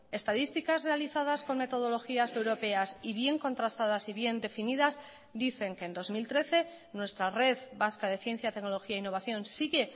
estadísticas realizadas con metodologías europeas y bien contrastadas y bien definidas dicen que en dos mil trece nuestra red vasca de ciencia tecnología e innovación sigue